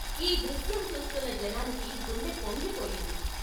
ఈ దృశ్యం చూస్తున్న జనానికి గుండె పొంగిపోయింది.